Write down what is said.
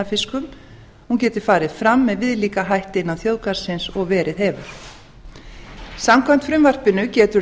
vatnafiskum hún gæti farið fram með viðlíka hætti innan þjóðgarðsins og verið hefur samkvæmt frumvarpinu getur